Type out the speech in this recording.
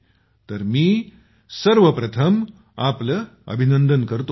तर मी आपल्याला सर्वप्रथम आपलं अभिनंदन करतो